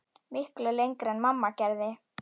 Miklu lengra en mamma gerði.